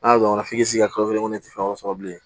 N'a ɲɔgɔnna f'i k'i sigi ka kalo kelen ne tɛ fɛn dɔ sɔrɔ bilen